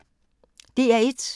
DR1